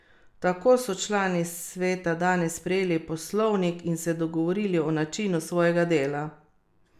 Tako so člani sveta danes sprejeli poslovnik in se dogovorili o načinu svojega dela.